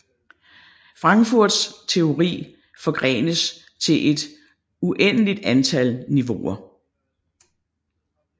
Frankfurts teori forgrenes til et uendeligt antal niveauer